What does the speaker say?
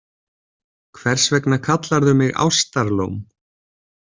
Hvers vegna kallarðu mig Ástarlóm?